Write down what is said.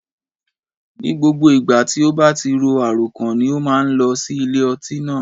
Ní gbogbo ìgbà tí ó bá ti ro àròkàn ni ó má a nlọ sí ilé ọtí náà